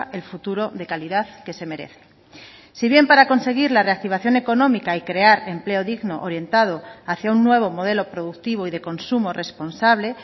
el futuro de calidad que se merece si bien para conseguir la reactivación económica y crear empleo digno orientado hacia un nuevo modelo productivo y de consumo responsable